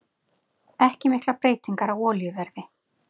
Ekki miklar breytingar á olíuverði